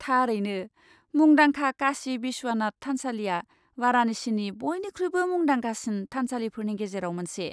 थारैनो। मुंदांखा काशी विश्वनाथ थानसालिया वाराणसिनि बइनिख्रुइबो मुंदांखासिन थानसालिफोरनि गेजेराव मोनसे।